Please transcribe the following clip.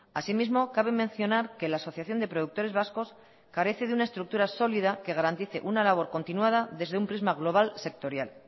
asimismo cabe mencionar que la asociación de productores vascos carece de una estructura sólida que garantice una labor continuada desde un prisma global sectorial